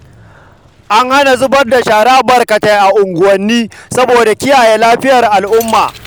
An hana zubar da shara barkatai a unguwanni saboda kiyaye lafiyar al'umma